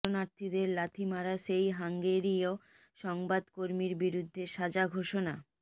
শরণার্থীদের লাথি মারা সেই হাঙ্গেরীয় সংবাদকর্মীর বিরুদ্ধে সাজা ঘোষণা